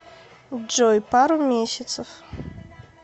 джой пару месяцев